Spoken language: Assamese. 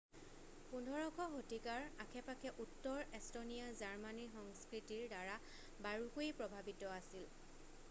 15শ শতিকাৰ আশে পাশে উত্তৰ এষ্টনীয়া জাৰ্মানীৰ সংস্কৃতিৰ দ্বাৰা বাৰুকৈয়ে প্ৰভাৱিত আছিল